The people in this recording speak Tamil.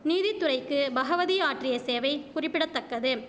நீதித்துறைக்கு பகவதி ஆற்றிய சேவை குறிப்பிட தக்கது